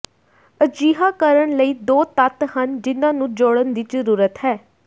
ਅਜਿਹਾ ਕਰਨ ਲਈ ਦੋ ਤੱਤ ਹਨ ਜਿਨ੍ਹਾਂ ਨੂੰ ਜੋੜਨ ਦੀ ਜ਼ਰੂਰਤ ਹੈ